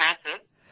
আজ্ঞে হ্যাঁ